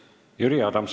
Jüri Adams.